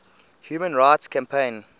human rights campaign